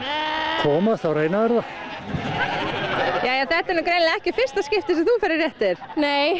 komast þá reyna þeir það þetta er greinilega ekki í fyrsta skipti sem þú ferð í réttir nei